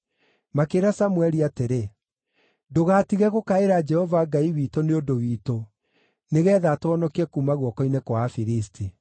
Makĩĩra Samũeli atĩrĩ, “Ndũgaatige gũkaĩra Jehova Ngai witũ nĩ ũndũ witũ, nĩgeetha atũhonokie kuuma guoko-inĩ kwa Afilisti.”